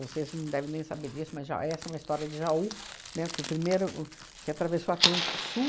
não devem nem saber disso, mas já essa é uma história de Jaú, né, que o primeiro que atravessou o Atlântico Sul.